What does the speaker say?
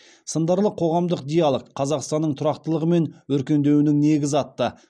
сындарлы қоғамдық диалог қазақстанның тұрақтылығы мен өркендеуінің негізі атты